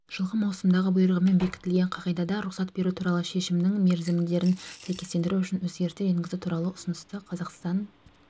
жылғы маусымдағы бұйрығымен бекітілген қағидада рұқсат беру туралы шешемнің мерзімдерін сәйкестендіру үшін өзгерістер енгізу туралы ұсынысты қазақстан